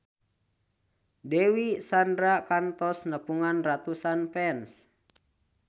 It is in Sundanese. Dewi Sandra kantos nepungan ratusan fans